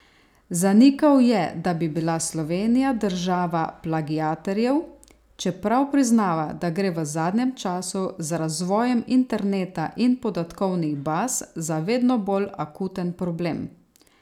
Zanikal je, da bi bila Slovenija država plagiatorjev, čeprav priznava, da gre v zadnjem času, z razvojem interneta in podatkovnih baz, za vedno bolj akuten problem.